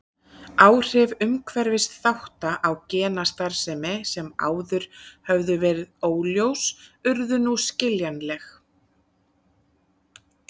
Áhrif umhverfisþátta á genastarfsemi sem áður höfðu verið óljós urðu nú skiljanleg.